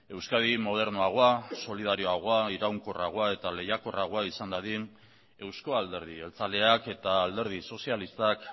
euskadi modernoagoa solidarioagoa iraunkorragoa eta lehiakorragoa izan dadin euzko alderdi jeltzaleak eta alderdi sozialistak